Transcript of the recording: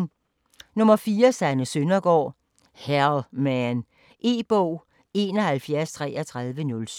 4. Søndergaard, Sanne: Hell man E-bog 713307